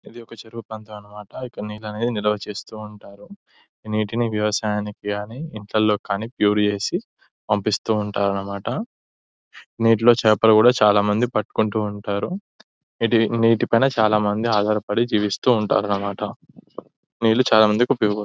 ఇది ఒక చెరువు ప్రాంతం అన్నమాట. ఇక్కడ నీళ్లనేది నిల్వ చేస్తూ ఉంటారు. ఈ నీటిని వ్యవసాయానికి గాని ఇంట్లల్లో కాని ప్యూర్ చేసి పంపిస్తూ ఉంటారన్నమాట. నీటిలో చేపలు కూడా చాలా మంది పట్టుకుంటూ ఉంటారు. ఇది నీటి పైన చాలా మంది ఆధారపడి నివసిస్తూ ఉంటారన్నమాట. నీళ్లు చాలా మందికి ఉపయోగపడతాయ్.